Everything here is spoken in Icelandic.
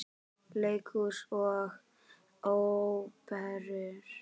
Leikhús og Óperur